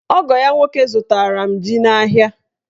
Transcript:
Ogo ya nwoke zụtara m ji n'ahịa.